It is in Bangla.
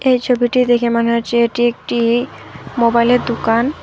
এই ছবিটি দেখে মনে হচ্ছে এটি একটি মোবাইলের দুকান ।